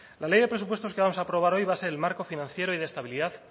la ley de presupuestos que vamos a aprobar hoy va a ser el marco financiero y de estabilidad